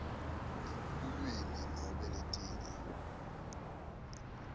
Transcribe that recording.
lulwimi nobe letinye